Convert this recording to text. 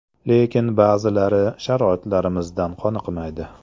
Lekin ba’zilari sharoitlarimizdan qoniqmaydi.